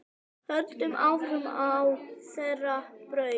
Höldum áfram á þeirri braut.